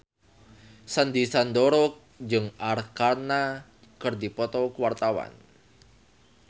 Sandy Sandoro jeung Arkarna keur dipoto ku wartawan